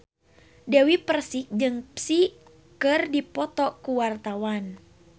Dewi Persik jeung Psy keur dipoto ku wartawan